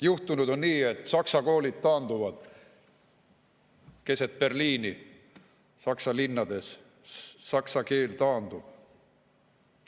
Juhtunud on nii, et saksa koolid taanduvad keset Berliini, Saksa linnades saksa keel taandub.